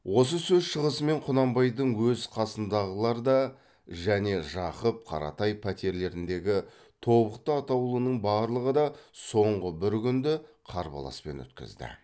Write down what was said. осы сөз шығысымен құнанбайдың өз қасындағылар да және жақып қаратай пәтерлеріндегі тобықты атаулының барлығы да соңғы бір күнді қарбаласпен өткізді